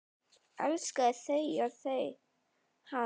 Elskaði þau og þau hann.